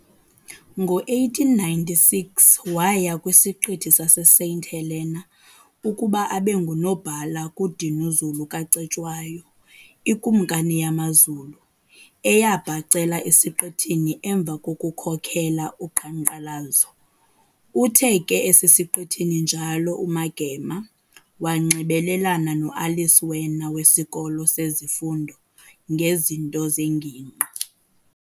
Ngo-1896 waya kwisiqithi sase- Saint Helena ukuba abe ngunobhala kuDinuzulu kaCetshwayo, ikumkani yamaZulu, eyabhacela esiqithini emva kokukhokhela uqhankqalazo. Uthe ke esesesiqithini njalo uMagema, wanxibelelana no-Alice Werner wesikolo sezifundo ngezinto zengingqi.